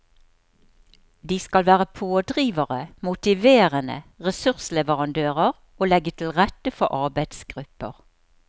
De skal være pådrivere, motiverende, ressursleverandører og legge til rette for arbeidsgrupper.